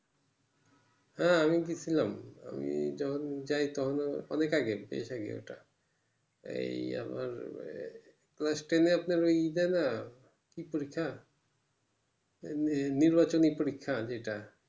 হ্যাঁ আমি গেছিলাম আমি যখন যাই অনেক আগে গিয়েও থাকি ওটা এই আমার class ten এ আপনার ই দেয় না কি পরীক্ষা নির্বাচনী পরীক্ষা যেটা